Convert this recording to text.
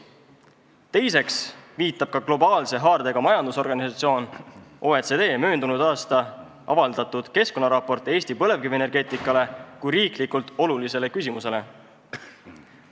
Teiseks viitab ka globaalse haardega majandusorganisatsiooni OECD möödunud aastal avaldatud keskkonnaraport Eesti põlevkivienergeetikale kui riiklikult olulisele küsimusele.